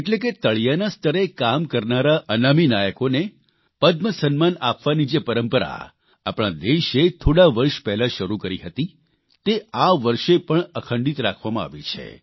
એટલે કે તળિયાના સ્તરે કામ કરનારા અનામી નાયકોને પદ્મ સન્માન આપવાની જે પરંપરા આપણા દેશે થોડા વર્ષ પહેલાં શરૂ કરી હતી તે આ વર્ષે પણ અખંડિત રાખવામાં આવી છે